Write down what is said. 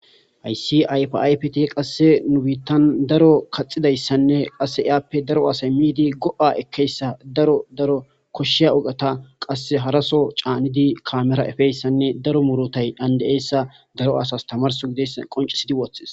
Hayssi ayifa ayifeti nu bittani daro kaxidayisane itape daro assayi midi goa ekeyisa koshiya ogeta hara soo kamera canidi efeyisa qonicidi wothesi